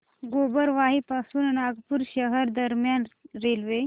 गोबरवाही पासून नागपूर शहर दरम्यान रेल्वे